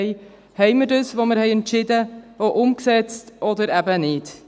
Haben wir das auch umgesetzt, was wir entschieden haben, oder eben nicht?